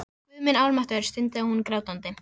Guð minn almáttugur, stundi hún grátandi.